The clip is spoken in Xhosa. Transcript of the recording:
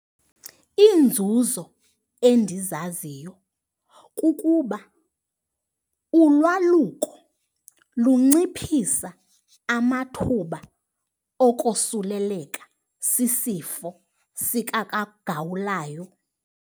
Iinzuzo endizaziyo kukuba ulwaluko lunciphisa amathuba okosuleleka sisifo sikagawulayo.